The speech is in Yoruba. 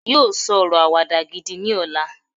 yíò sọ ọrọ Àwàdà gidi ní ọlá